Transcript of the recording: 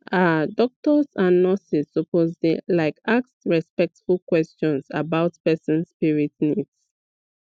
ah doctors and nurses suppose dey like ask respectful questions about person spirit needs